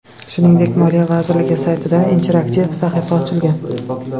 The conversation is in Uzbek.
Shuningdek, Moliya vazirligi saytida interaktiv sahifa ochilgan.